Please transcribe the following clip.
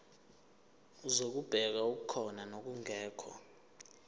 zokubheka okukhona nokungekho